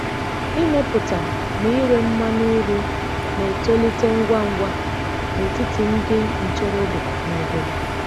Ịmepụta na ire mmanụ uri na-etolite ngwa ngwa n’etiti ndị ntorobịa n’obodo.